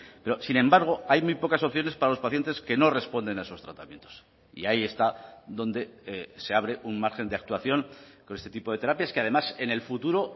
pero sin embargo hay muy pocas opciones para los pacientes que no responden a esos tratamientos y ahí está donde se abre un margen de actuación con este tipo de terapias que además en el futuro